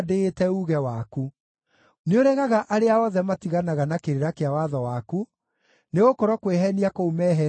Nĩũregaga arĩa othe matiganaga na kĩrĩra kĩa watho waku, nĩgũkorwo kwĩheenia kũu meheenagia nakuo nĩ gwa tũhũ.